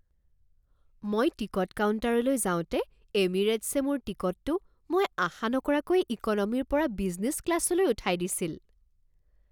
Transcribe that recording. মই টিকট কাউণ্টাৰলৈ যাওঁতে এমিৰেটছে মোৰ টিকটটো মই আশা নকৰাকৈয়ে ইক'নমীৰ পৰা বিজনেছ ক্লাছলৈ উঠাই দিছিল।